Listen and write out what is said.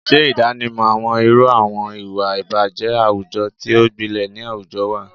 Ṣe ìdánimọ̀ àwọn irú àwọn ìwà ìbàjẹ́ àwùjọ tí ó gbilẹ̀ ni àwùjọ wa,